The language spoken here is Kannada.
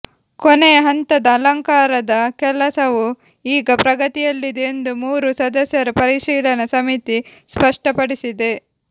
ಕೊನೆಯ ಹಂತದ ಅಲಂಕಾರದ ಕೆಲಸವು ಈಗ ಪ್ರಗತಿಯಲ್ಲಿದೆ ಎಂದು ಮೂರು ಸದಸ್ಯರ ಪರಿಶೀಲನಾ ಸಮಿತಿ ಸ್ಪಷ್ಟಪಡಿಸಿದೆ